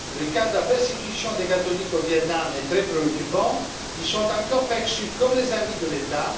Le cas de la persécution des catholiques au Viêt Nam est très préoccupant ils sont encore perçus comme les ennemis de l'État.